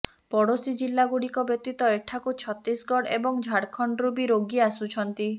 ପଡ଼ୋଶୀ ଜିଲ୍ଲାଗୁଡ଼ିକ ବ୍ୟତୀତ ଏଠାକୁ ଛତିଶଗଡ ଏବଂ ଝାଡଖଣ୍ଡରୁ ବି ରୋଗୀ ଆସୁଛନ୍ତି